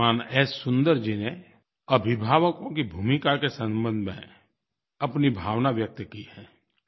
श्रीमान एस सुन्दर जी ने अभिभावकों की भूमिका के संबंध में अपनी भावना व्यक्त की है